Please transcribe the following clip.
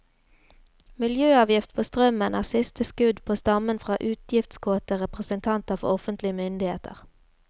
Miljøavgift på strømmen er siste skudd på stammen fra utgiftskåte representanter for offentlige myndigheter.